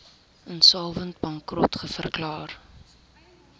insolvent bankrot verklaar